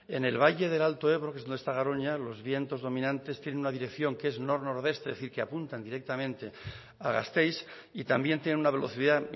en el valle del alto ebro que es donde esta garoña los vientos dominantes tienen una dirección que es nor nordeste es decir que apuntan directamente a gasteiz y también tienen una velocidad